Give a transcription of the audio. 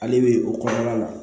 Ale bɛ o kɔnɔna la